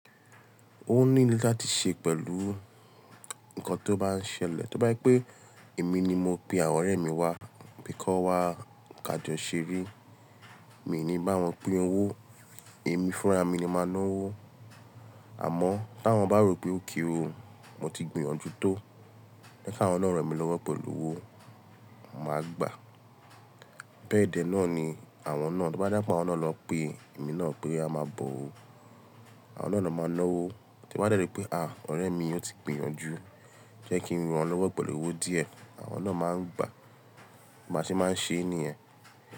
Ó ní ìní láti ṣe pẹ̀lú nnkan tó bá ń ṣẹlẹ̀. Tí ó bá je pé èmi ni mo pe àwọn ọ̀rẹ́ mi wá, pé kan wá ká jọ́ ṣeré, mi ò ní bá wọn pín owó. Èmi fúnra mi ni máa ná owó. Àmọ́ ta wọ́n bá rò pé okay o, mo ti gbìyànjú tó. Jẹ́ ká wọn naa ràn mí lọ́wọ́ pẹ̀lú owó, màá gbà. Béẹ̀dẹ náà ni àwọn náà. To bá de je awom naà lo pé èmi náà pé a máa bọ̀ ó, àwọn náà na máa ná owó. Tí wọ́n bá dẹ̀rí pé à, ọ̀rẹ́ mi yóò ti gbìyànjú, jẹ́ kí n ran lọ́wọ́ pẹ̀lú owó díẹ̀, àwọn náà máa ń gbà. Bí a ṣe máa ń ṣe niyen.